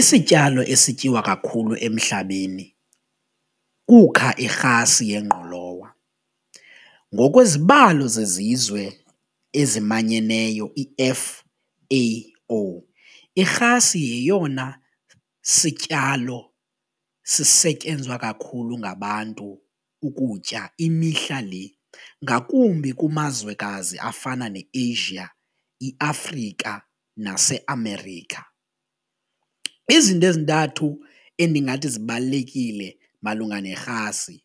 Isityalo esityiwa kakhulu emhlabeni kukha irhasi yengqolowa, ngokwezibalo zezizwe ezimanyeneyo i-F_A_O irhasi yeyona sityalo sisetyenzwa kakhulu ngabantu ukutya imihla le ngakumbi kumazwekazi afana neAsia, iAfrika naseAmerica. Izinto ezintathu endingathi zibalulekile malunga nerhasi